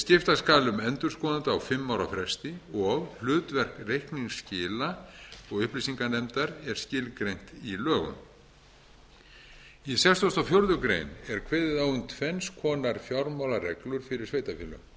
skipta ára um endurskoðanda á fimm ára fresti og hlutverk reikningsskila og upplýsinganefndar er skilgreina í lögum í tuttugasta og fjórðu grein er kveðið á um hvers konar fjármálareglur fyrir sveitarfélög annars